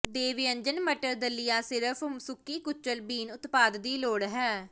ਦੇ ਵਿਅੰਜਨ ਮਟਰ ਦਲੀਆ ਸਿਰਫ ਸੁੱਕੀ ਕੁਚਲ ਬੀਨ ਉਤਪਾਦ ਦੀ ਲੋੜ ਹੈ